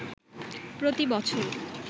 প্রতি বছর